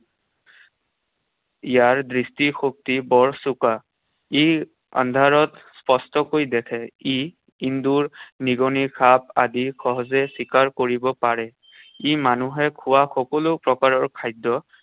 ইয়াৰ দৃষ্টিশক্তি বৰ চোকা। ই আন্ধাৰত স্পষ্টকৈ দেখে। ই এন্দুৰ, নিগনি, সাপ আদি সহজে চিকাৰ কৰিব পাৰে। ই মানুহে খোৱা সকলো প্ৰকাৰৰ খাদ্য